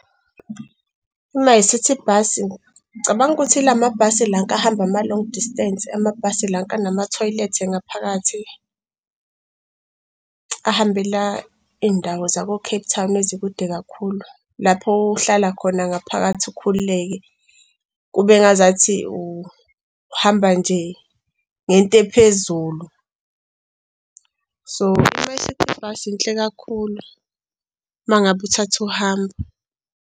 iMyCiti Bus, ngicabanga ukuthi ila mabhasi lanka ahamba ama-long distance amabhasi lanka anama-toilet ngaphakathi ahambela iy'ndawo zako-Cape Town ezikude kakhulu lapho ohlala khona ngaphakathi ukhululeke, kube ngazathi uhamba nje ngento ephezulu, so iMyCiti Bus yinhle kakhulu uma ngabe uthatha uhambo.